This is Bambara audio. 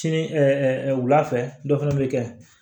Sini ɛɛ wulafɛ dɔ fana bɛ kɛ